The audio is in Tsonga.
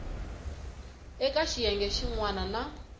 eka xiyenge xin wana na